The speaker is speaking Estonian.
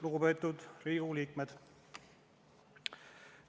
Lugupeetud Riigikogu liikmed!